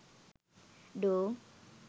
door